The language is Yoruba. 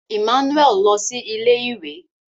Emmanuel Lọ si ilé-ìwé